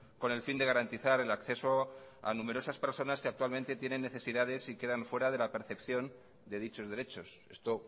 con el fin de garantizar el acceso a numerosas personas que actualmente tienen necesidades y quedan fuera de la percepción de dichos derechos esto